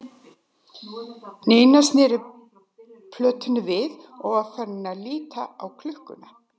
Nína sneri plötunni við og var farin að líta á klukkuna.